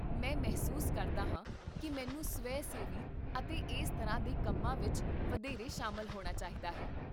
ਮੈਂ ਮਹਿਸੂਸ ਕਰਦਾ ਹਾਂ ਕਿ ਮੈਨੂੰ ਸਵੈ ਸੇਵੀ ਅਤੇ ਇਸ ਤਰ੍ਹਾਂ ਦੇ ਕੰਮਾਂ ਵਿੱਚ ਵਧੇਰੇ ਸ਼ਾਮਲ ਹੋਣਾ ਚਾਹੀਦਾ ਹੈ